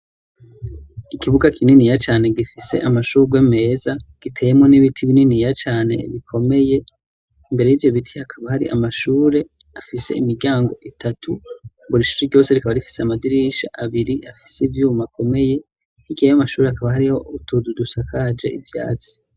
Ikibuga kininiya cane gifise amashurwe meza giteyemwo n'ibiti bininiya cane bikomeye, imbere yivyo biti hakaba hari amashure afise imiryango itatu buri shuri ryose rikaba rifise amadirisha abiri afise ivyuma akomeye, hirya y'amashuri hakaba hariho utuzu dusakaje ivyatsi.